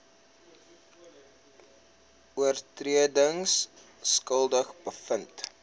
oortredings skuldig bevind